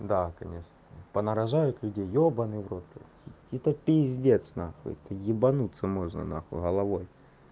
да конечно понарожают люди ебанный в рот это пиздец нахуй это ебанутся можно нахуй головой